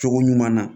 Cogo ɲuman na